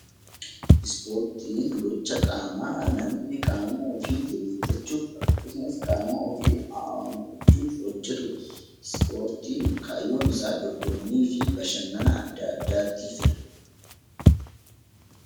Ispoortiin gocha qaamaa namni qaama ofii jabeeffachuuf akkasumas qaama ofii ho'ifachuuf kan hojjetudha. Ispoortiin kaayyoon isaa dorgommii fi bashannana adda addaattiifidha.